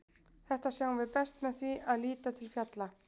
Þetta sjáum við best með því að líta til fjalla.